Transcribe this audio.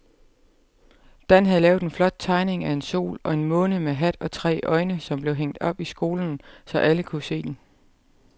Dan havde lavet en flot tegning af en sol og en måne med hat og tre øjne, som blev hængt op i skolen, så alle kunne se den.